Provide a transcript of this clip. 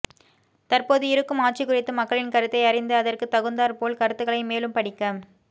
தற்போது இருக்கும் ஆட்சி குறித்து மக்களின் கருத்தை அறிந்து அதற்கு தகுந்தார் போல் கருத்துக்களை மேலும் படிக்க